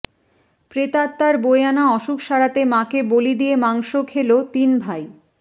প্রেতাত্মার বয়ে আনা অসুখ সারাতে মাকে বলি দিয়ে মাংস খেল তিন ভাই